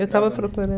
Eu estava procurando.